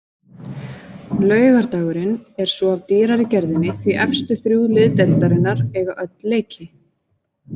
Laugardagurinn er svo af dýrari gerðinni því efstu þrjú lið deildarinnar eiga öll leiki.